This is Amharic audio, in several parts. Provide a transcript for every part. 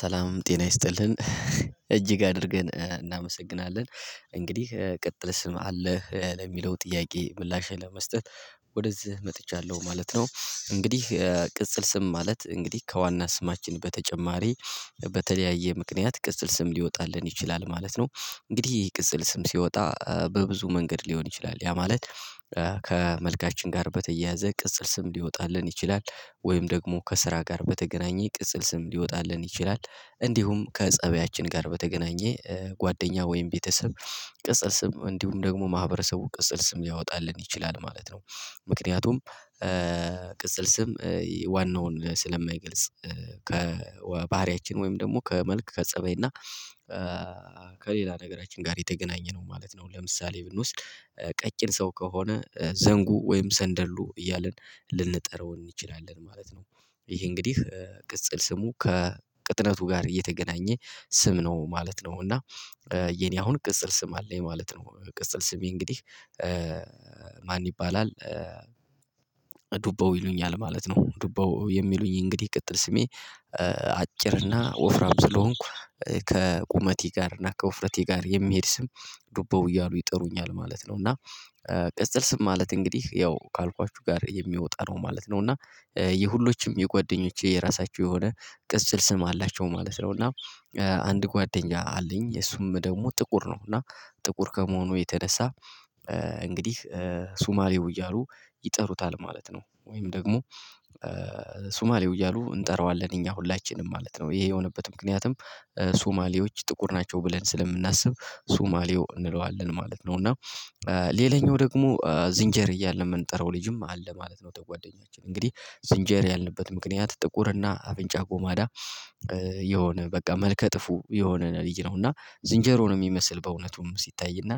ሰላምም ጤና ይስጥልን እጅግ አድርገን እናመሰግናለን እንግዲህ ቅጥል ስም አለህ ለሚለው ጥያቄ ምላሽ ለመስጠት። ወደዚህ መጥቻለሁ ማለት ነው። እንግዲህ ቅጽል ስም ማለት እንግዲህ ከዋና ስማችን በተጨማሪ። በተለያየ ምክንያት ቅጽል ስም ሊወጣልን ይችላል ማለት ነው። እንግዲህ ይሄ ቅጽል ስም ሲወጣ በብዙ መንገድ ሊሆን ይችላል ያ ማለት። ከመልካችን ጋር በተያያዘ ቅጽል ስም ሊወጣልን ይችላል። ወይም ደግሞ ከስራ ጋር በተገናኘ ቅጽል ስም ሊወጣልን ይችላል። እንዲሁም ከፀበያችን ጋር በተገናኘ ጓደኛ ወይም ቤተሰብ ቅፀፍ ስም እንዲሁም ደግሞ ማህበረሰቡ ቅጽል ስም ሊያወጣልን ይችላል ማለት ነው። ምክንያቱም ቅጽል ስም ዋናውን ስለማይገልጽ ከባህሪያችን ወይም ደግሞ ከመልክ ከፀበይ እና ከሌላ ነገራችን ጋር የተገናኘ ነው ማለት ነው። ለምሳሌ ብንውስድ ቀጭን ሰው ከሆነ ዘንጉ ወይም ሰንደሉ እያልን ልንጠራው እንችላለን ማለት ነው። ይሄ እንግዲህ ቅጽል ስሙ ከቅጥነቱ ጋር እየተገናኘ ስም ነው ማለት ነው። እና የኔ አሁን ቅጽል ስም አለኝ ማለት ነው። ቅጽል ስሜ እንግዲህ ማን ይባላል? ዱባው ይሉኛል ማለት ነው ዱባው የሚሉኝ እንግዲህ ቅጥል ስሜ። አጭርና ወፍራም ስለሆንኩ ከቁመቴ ጋር እና ከውፍረቴ ጋር የሚሄድ ስም ዱበው እያሉ ይጥሩኛል ማለት ነው። እና ቅጽል ስም ማለት እንግዲህ ያው ካልኳችሁ ጋር የሚወጣ ነው ማለት ነው። እና የሁሎችም የጓደኞቼ የራሳችሁ የሆነ ቅጽል ስም አላቸው ማለት ነው። እና አንድ ጓደኛ አለኝ የሱም ደግሞ ጥቁር ነው። እና ጥቁር ከመሆኑ የተነሳ እንግዲህ ሱማሌው እያሉ ይጠሩታል ማለት ነው። ወይም ደግሞ ሱማሌው እያሉ እንጠራዋለን እኛ ሁላችንም ማለት ነው። ይሄ የሆነበት ምክንያቱም ሱማሌዎች ጥቁር ናቸው ብለን ስለምናስብ ሱማሌው እንለዋለን ማለት ነው። እና ሌላኛው ደግሞ ዝንጀር እያለ የምንጠራው ልጅም አለ ማለት ነው። የጓደኛችን እንግዲህ ዝንጀር ያልንበት ምክንያት ጥቁር እና አብንጫ ጎማዳ የሆነ በቃ መልከ ጥፉ የሆነ ልዩ ነው። እና ዝንጀሮውን የሚመስል በእውነቱም ሲታይ እና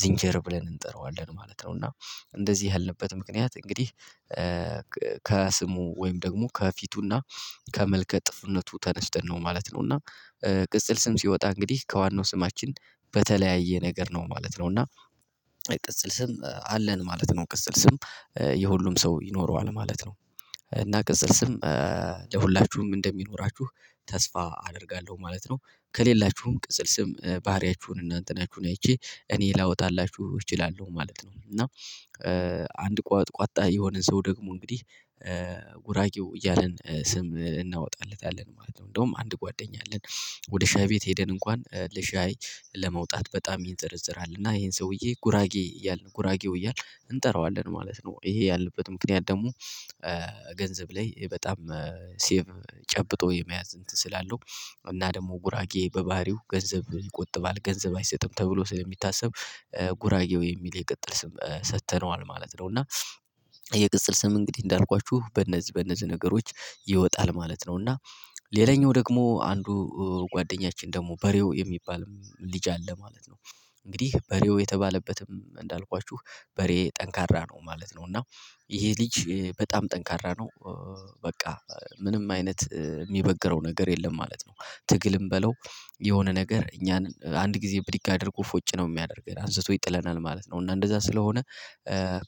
ዝንጀር ብለን እንጠራዋለን ማለት ነው። እና እንደዚህ ያልንበት ምክንያት እንግዲህ ከስሙ ወይም ደግሞ ከፊቱና ከመልከ ጥፍነቱ ተነስተን ነው ማለት ነው። እና ቅጽል ስም ሲወጣ እንግዲህ ከዋናው ስማችን በተለያየ ነገር ነው ማለት ነው። እና ቅጽል ስም አለን ማለት ነው። ቅጽል ስም የሁሉም ሰው ይኖረዋል ማለት ነው። እና ቅጽል ስም ለሁላችሁም እንደሚኖራችሁ ተስፋ አደርጋለሁ ማለት ነው። ከሌላችሁም ቅጽል ስም ባህሪያችሁን እናንተናችሁን አይቼ እኔ ላወጣላችሁ እችላለሁ ማለት ነው። እና አንድ ቋጥ ቋጣ የሆነ ሰው ደግሞ እንግዲህ ጉራጌው እያልን ስም እናወጣለታለን ማለት ነው። እንደውም አንድ ጓደኛ አለን ወደ ሻይ ቤት ሄደን እንኳን ለሻይ ለመውጣት በጣም ይንዘረዝራል እና ይሄን ሰውዬ ጉራጌ እያልን ጉራጌው እያልን እንጠራዋለን ማለት ነው። ይሄ ያለበት ምክንያት ደግሞ ገንዘብ ላይ በጣም ሴቭ ጨብጦ የመያዝ እንትን ስላለው እና ደግሞ ጉራጌ በባህሪው ገንዘብ ይቆጥባል ገንዘብ አይሰጥም ተብሎ ስለሚታሰብ ጉራጌው የሚል የቅጥል ስም ሰጥተነዋል ማለት ነው። እና የቅጥል ስም እንግዲህ እንዳልኳችሁ በእነዚህ በእነዚህ ነገሮች ይወጣል ማለት ነው። እና ሌላኛው ደግሞ አንዱ ጓደኛችን ደግሞ በሬው የሚባል ልጅ አለ ማለት ነው። እንግዲህ በሬው የተባለበትም እንዳልኳችሁ በሬ ጠንካራ ነው ማለት ነው። እና ይሄ ልጅ በጣም ጠንካራ ነው። በቃ ምንም አይነት የሚበግረው ነገር የለም ማለት ነው። ትግልም በለው የሆነ ነገር እኛን አንድ ጊዜ ብድግ አድርጎ ፎጭ ነው የሚያደርገን አንስቶ ይጥለናል ማለት ነው። እና እንደዛ ስለሆነ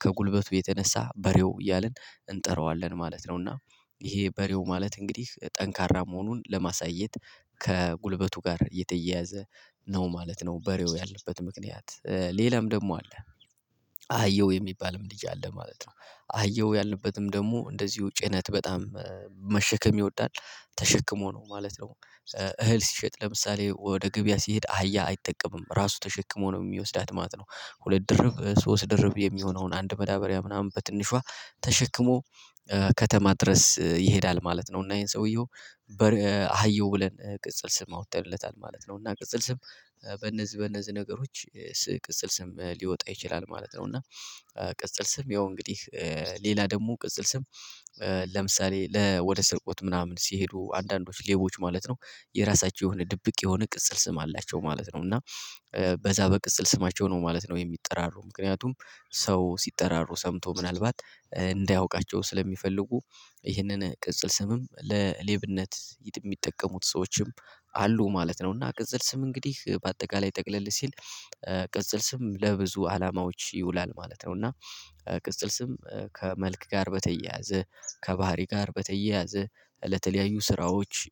ከጉልበቱ የተነሳ በሬው እያልን እንጠራዋለን ማለት ነው። እና ይሄ በሬው ማለት እንግዲህ ጠንካራ መሆኑን ለማሳየት ከጉልበቱ ጋር የተያያዘ ነው ማለት ነው። በሬው ያልንበት ምክንያት ሌላም ደግሞ አለ። አህየው የሚባልም ልጅ አለ ማለት ነው። አህየው ያለበትም ደግሞ እንደዚሁ ጭነት በጣም መሸከም ይወዳል ተሸክሞ ነው ማለት ነው። እህል ሲሸጥ ለምሳሌ ወደ ገበያ ሲሄድ አህያ አይጠቀምም ራሱ ተሸክሞ ነው የሚወስዳት ማለት ነው። ሁለት ድርብ ሶስት ድርብ የሚሆነውን አንድ መዳበሪያ ምናምን በትንሿ ተሸክሞ ከተማ ድረስ ይሄዳል ማለት ነው። እና ይሄን ሰውየው አህየው ብለን ቅጽል ስም አወጣለት ማለት ነው። እና ቅጽል ስም በነዚህ በነዚህ ነገሮች ቅጽል ስም ሊወጣ ይችላል ማለት ነው። እና ቅጽል ስም ያው እንግዲህ ሌላ ደግሞ ቅጽል ስም ለምሳሌ ለወደ ስርቆት ምናምን ሲሄዱ አንዳንዶች ሌቦች ማለት ነው። የራሳቸው የሆነ ድብቅ የሆነ ቅጽል ስም አላቸው ማለት ነው። እና በዛ በቅጽል ስማቸው ነው ማለት ነው። የሚጠራሩ ምክንያቱም ሰው ሲጠራሩ ሰምቶ ምናልባት እንዳያውቃቸው ስለሚፈልጉ ይህንን ቅጽል ስምም ለሌብነት የሚጠቀሙት ሰዎችም አሉ ማለት ነው። እና ቅጽል ስም እንግዲህ በአጠቃላይ ጠቅለል ሲል ቅጽል ስም ለብዙ አላማዎች ይውላል ማለት ነው። እና ቅጽል ስም ከመልክ ጋር በተያያዘ ከባህሪ ጋር በተያያዘ ለተለያዩ ስራዎች